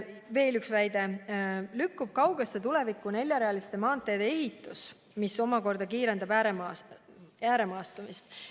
Veel üks väide: neljarealiste maanteede ehitus lükkub kaugesse tulevikku, mis omakorda kiirendab ääremaastumist.